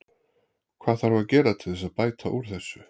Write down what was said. Hvað þarf að gera til þess að bæta úr þessu?